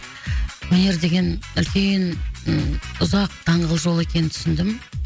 өнер деген үлкен ы ұзақ даңғыл жол екенін түсіндім